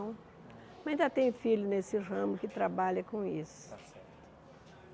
Mas ainda tem filho nesse ramo que trabalha com isso. Tá certo